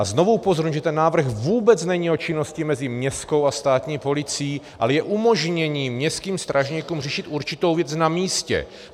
A znovu upozorňuji, že ten návrh vůbec není o činnosti mezi městskou a státní policií, ale je umožněním městským strážníkům řešit určitou věc na místě.